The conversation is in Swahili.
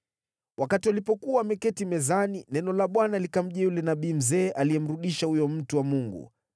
Wakati walipokuwa wameketi mezani, neno la Bwana likamjia yule nabii mzee aliyemrudisha huyo mtu wa Mungu.